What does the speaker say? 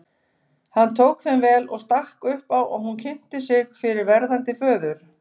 Hann tók þeim vel og stakk upp á að hún kynnti sig fyrir verðandi föður.